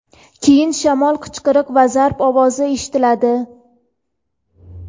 Keyin shamol, qichqiriq va zarb ovozi eshitiladi.